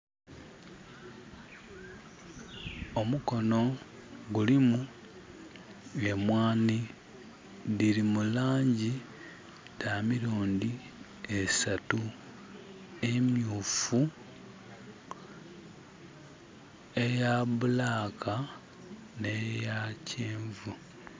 Omukono gulimu emwanhi dhiri mu langi dha mirundhi esatu, emyufu, eya bulaaka nhe ya kyenvu.